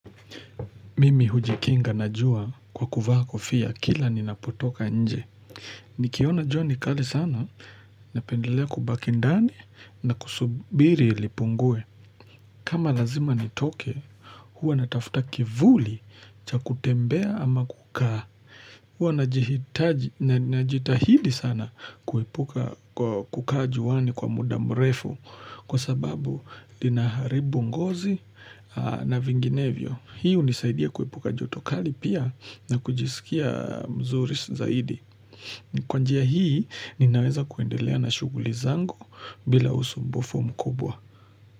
Mimi hujikinga na jua kwa kuvaa kofia kila ni napotoka nje. Nikiona jua kali sana napendelea kubaki ndani na kusubiri lipungue. Kama lazima ni toke huwa natafuta kivuli cha kutembea ama kukaa. Huwa na jitahidi sana kukaa juani kwa mudamrefu kwa sababu dinaharibu ngozi na vinginevyo. Hii unisaidia kuipuka jotokali pia na kujisikia mzuri zaidi. Kwanjia hii ninaweza kuendelea na shuguli zangu bila usumbufu mkubwa.